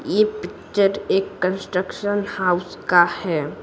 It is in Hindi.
ये पिक्चर एक कंस्ट्रक्शन हाउस का है।